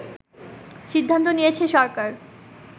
সিদ্ধান্ত নিয়েছে সরকার